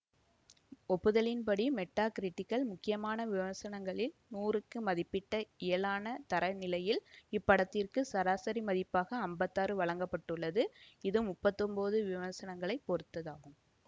ஒப்பிடுதலின்படி மெட்டாகிரிட்டிக்கில் முக்கியமான விமர்சனங்களில் நூறு க்கு மதிப்பிட்ட இயலான தரநிலையில் இப்படத்திற்கு சராசரி மதிப்பாக ஐம்பத்தாறு வழங்க பட்டுள்ளது இது முப்பத்தி ஒன்பது விமர்சனங்களைப் பொருத்ததாகும்